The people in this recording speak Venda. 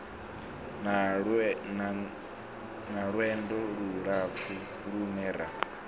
na lwendo lulapfu lune ra